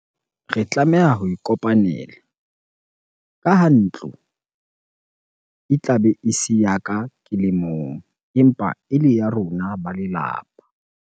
Re tlameha ho e kopanela. Ka ha ntlo e tlabe e se ya ka ke le mong, empa ele ya rona ba lelapa.